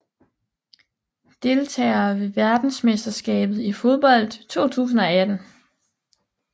Deltagere ved verdensmesterskabet i fodbold 2018